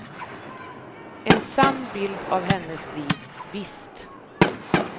En sann bild av hennes liv, visst.